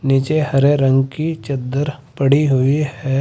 नीचे हरे रंग की चद्दर पड़ी हुई है।